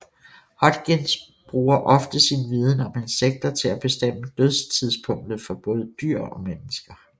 Hodgins bruger ofte sin viden om insekter til at bestemme dødstidspunktet for både dyr og mennesker